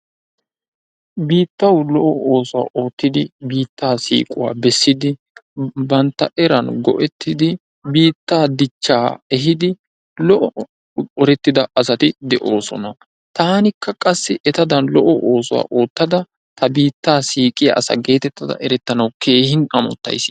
Biittawu lo"o oosuwa oottidi biittaa siiquwa bessidi bantta eran go"ettidi biittaa dichchaa ehiidi lo"o hu"urettida asati de"oosona taanikka qassi etadan lo"o oosuwa oottada ta biittaa siiqiya asa geetettada erettanawu keehi amottayis.